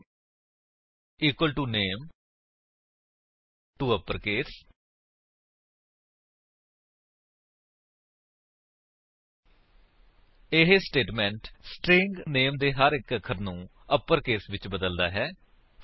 name equal to name touppercase 160 ਇਹ statement string name ਦੇ ਹਰ ਇੱਕ ਅੱਖਰ ਨੂੰ ਅਪਰਕੇਸ ਵਿੱਚ ਬਦਲਦਾ ਹੈ